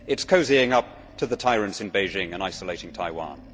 It is cosying up to the tyrants in Beijing and isolating Taiwan.